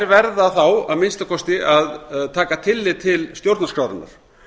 verða þá að minnsta kosti að taka tillit til stjórnarskrárinnar